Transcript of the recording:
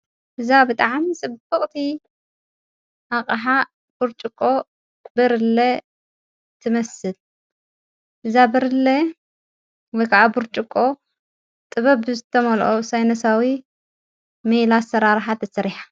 እዛ ብጥዓም ጽበቕቲ ኣቕሓ ቡርጭቆ ብርለ ትመስል እዛ ብርለየ ወ ከዓ ቡርጭቆ ጥበብ ዘተመልኦ ሳይንሳዊ ሜላ ኣሠራርሓ ተሠሪሓ።